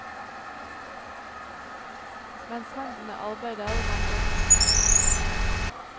Mens hendene arbeider, vandrer tankene.